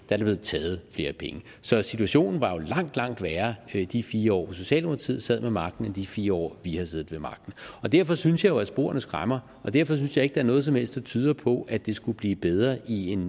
der blevet taget flere penge så situationen var jo langt langt værre i de fire år hvor socialdemokratiet sad ved magten end i de fire år vi har siddet ved magten derfor synes jeg jo at sporene skræmmer og derfor synes jeg ikke der er noget som helst der tyder på at det skulle blive bedre i en